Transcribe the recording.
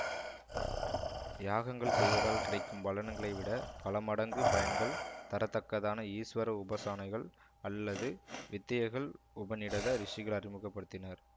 யாகங்கள் செய்வதால் கிடைக்கும் பலனகளை விட பலமடங்கு பயன்கள் தரத்தக்கதான ஈஸ்வர உபாசனைகள் அல்லது வித்யைகள் உபநிடத ரிஷிகள் அறிமுக படுத்தினர்